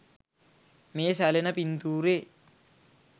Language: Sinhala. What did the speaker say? මේ සැලෙන පින්තූරේ